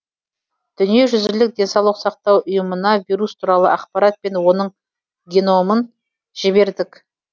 дүниежүзілік денсаулық сақтау ұйымына вирус туралы ақпарат пен оның геномын жібердік